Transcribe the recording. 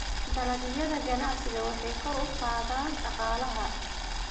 Dalagyada ganacsiga waxay kor u qaadaan dhaqaalaha.